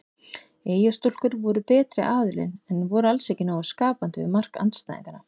Eyjastúlkur voru betri aðilinn en voru alls ekki nógu skapandi við mark andstæðinganna.